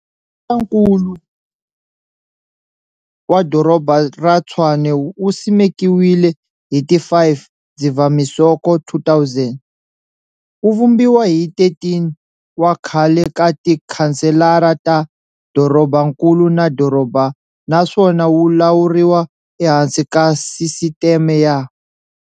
Masipalankulu wa Doroba ra Tshwane wu simekiwile hi ti 5 Dzivamisoko 2000, wu vumbiwa hi 13 wa khale ka tikhanselara ta dorobankulu na doroba naswona wu lawuriwa ehansi ka sisiteme ya.